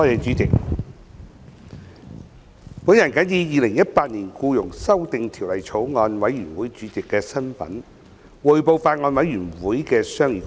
主席，我謹以《2018年僱傭條例草案》委員會主席的身份，匯報法案委員會的商議工作。